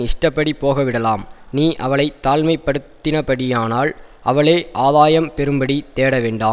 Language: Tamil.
இஷ்டப்படி போகவிடலாம் நீ அவளை தாழ்மைப்படுத்தினபடியினால் அவளே ஆதாயம் பெறும்படி தேடவேண்டாம்